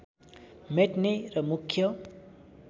मेट्ने र मुख्य